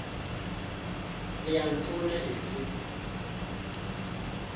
le ya ntona e se